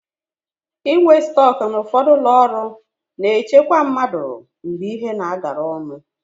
Inwe stọk na ụfọdụ ụlọọrụ na-echekwa mmadụ mgbe ihe na-agala ọnụ.